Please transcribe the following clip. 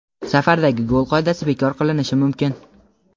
Safardagi gol qoidasi bekor qilinishi mumkin.